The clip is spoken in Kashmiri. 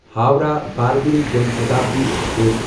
ہووراہ بربل جان شتابدی ایکسپریس